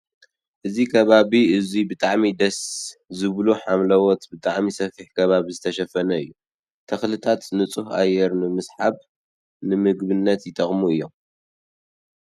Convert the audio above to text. ኣብዚ ከባቢ እዙይ ብጣዕሚ ደስ! ዝብሉ ሓምለዎት ብጣዕሚ ሰፊሕ ከባቢ ተሸፈጠኑ ኣሎ። ተኽሊታት ንፁህ ኣየር ንምስሓብ ንምግብየት ን ይጠቅሙና እዮም ።